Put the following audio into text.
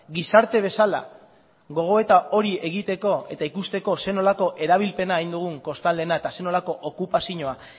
gizarte bezala gogoeta hori egiteko eta ikusteko ze nolako erabilpena egin dugun kostaldeena eta zer nolako okupazioa